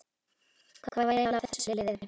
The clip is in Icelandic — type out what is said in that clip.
Hvað var eiginlega að þessu liði?